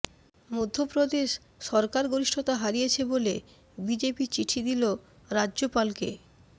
মধ্যপ্রদেশ সরকার গরিষ্ঠতা হারিয়েছে বলে বিজেপি চিঠি দিল রাজ্যপালকে